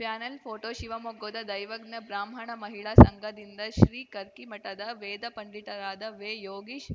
panel photo ಶಿವಮೊಗ್ಗದ ದೈವಜ್ಞ ಬ್ರಾಹ್ಮಣ ಮಹಿಳಾ ಸಂಘದಿಂದ ಶ್ರೀ ಕರ್ಕಿಮಠದ ವೇದ ಪಂಡಿತರಾದ ವೇ ಯೋಗೀಶ್‌